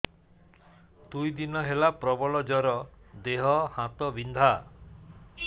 ଦୁଇ ଦିନ ହେଲା ପ୍ରବଳ ଜର ଦେହ ହାତ ବିନ୍ଧା